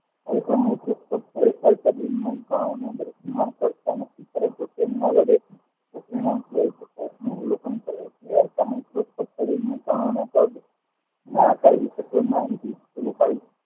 અવલોકન કરે છે શરીરના કણોના વાંકા ઈસતો માનથી પેલું કાઢી